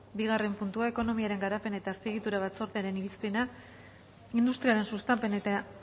bigarren puntua ekonomiaren garapen eta azpiegitura batzordearen irizpena industriaren sustapen eta